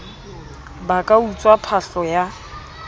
ba ka utswa phahlo ya